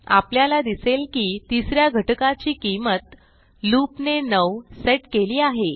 आपल्याला दिसेल की तिस या घटकाची किंमत लूप ने 9 सेट केली आहे